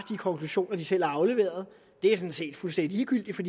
konklusioner de selv har afleveret det er sådan set fuldstændig ligegyldigt for